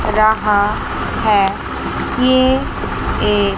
रहा है ये एक--